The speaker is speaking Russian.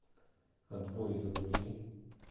отбой загрузи